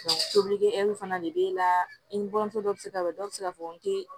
tobili hɛriw fana de be la i ni buramuso dɔ be se ka bɔ dɔw be se k'a fɔ n te